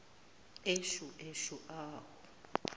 eshu eshu awu